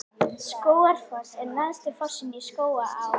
Skógafoss er neðsti fossinn í Skógaá.